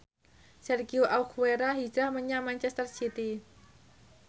Sergio Aguero hijrah menyang manchester city